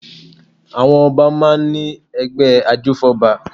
Àwọn Ọba máa ń ní ẹgbẹ́ ajófọ́ba